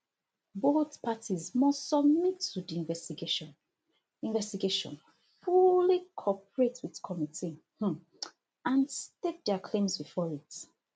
both parties must submit to di investigation investigation fully cooperate wit committee um and stake dia claims before it